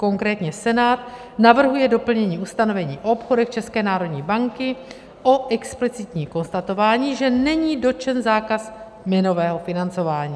Konkrétně Senát navrhuje doplnění ustanovení o obchodech České národní banky o explicitní konstatování, že není dotčen zákaz měnového financování.